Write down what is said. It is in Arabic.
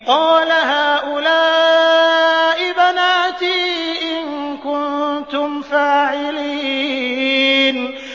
قَالَ هَٰؤُلَاءِ بَنَاتِي إِن كُنتُمْ فَاعِلِينَ